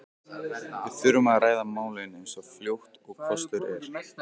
Við þurfum að ræða málin eins fljótt og kostur er.